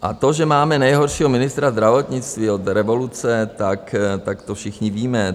A to, že máme nejhoršího ministra zdravotnictví od revoluce, tak to všichni víme.